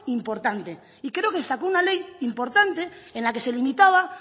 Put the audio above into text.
importante y creo que se sacó una ley importante en la que se limitaba